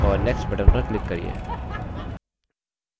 और next button पर click करिये